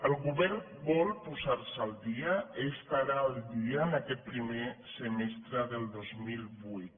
el govern vol posar se al dia estarà al dia en aquest primer semestre del dos mil vuit